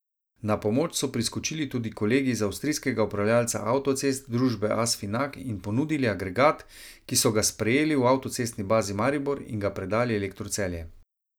Na pomoč so priskočili tudi kolegi iz avstrijskega upravljavca avtocest, družbe Asfinag, in ponudili agregat, ki so ga sprejeli v avtocestni bazi Maribor in ga predali Elektru Celje.